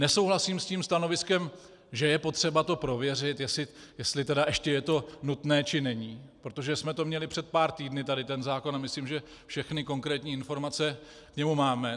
Nesouhlasím s tím stanoviskem, že je potřeba to prověřit, jestli tedy ještě je to nutné, či není, protože jsme to měli před pár týdny tady, ten zákon, a myslím, že všechny konkrétní informace k němu máme.